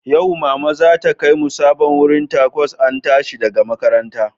Yau, Mama za ta kai mu sabon wurin Tacos an tashi daga makaranta